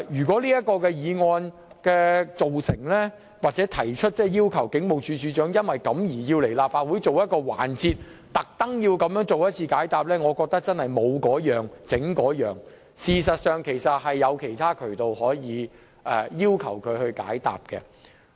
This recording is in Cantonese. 這項議案如獲通過，繼而傳召警務處處長前來立法會出席特設環節解答問題，我覺得真是"無嗰樣整嗰樣"，因為尚有其他渠道可以要求當局回應。